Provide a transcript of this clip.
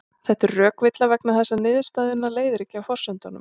Þetta er rökvilla vegna þess að niðurstöðuna leiðir ekki af forsendunum.